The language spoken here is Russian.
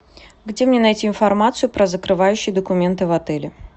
где мне найти информацию про закрывающие документы в отеле